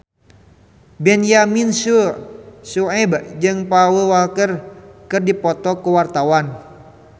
Benyamin Sueb jeung Paul Walker keur dipoto ku wartawan